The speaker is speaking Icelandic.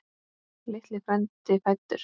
Lítill frændi fæddur.